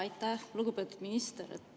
Aitäh, lugupeetud minister!